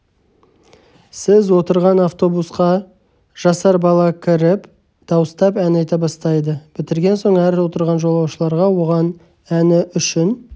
сіз отырған автобусқа жасар бала кіріп дауыстап ән айта бастайды бітірген соң әр отырған жолаушыларға оған әні үшін